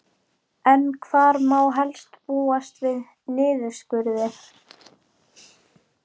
En hvar má helst búast við niðurskurði?